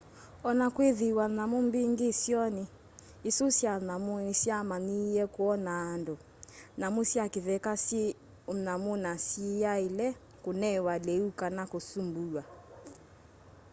onakwithiwa nyamu mbingi isioni isu sya nyamu nisyamanyiie kwonaa andu nyamu sya kitheka syi unyamu na siyaile kunewa liu kana kusumbuwa